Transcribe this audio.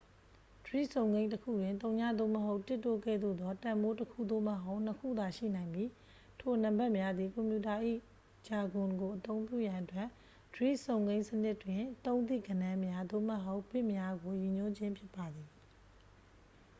ဒွိစုံကိန်းတစ်ခုတွင် 0 သို့မဟုတ် 1 တို့ကဲ့သို့သော တန်ဖိုးတစ်ခု သို့မဟုတ် နှစ်ခုသာ ရှိနိုင်ပြီး ထိုနံပါတ်များသည် ကွန်ပြူတာ ဂျာဂွန်ကိုအသုံးပြုရန်အတွက် ဒွိစုံကိန်းစနစ်တွင် သုံးသည့်ဂဏန်းများ သို့မဟုတ် ဘစ်များကို ရည်ညွှန်းခြင်းဖြစ်ပါသည်